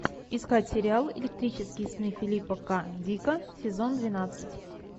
искать сериал электрические сны филипа к дика сезон двенадцать